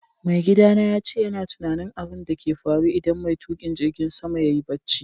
Maigida na yace yana tunani abun da ke faru idan mai tukin jirigin sama yayi barci.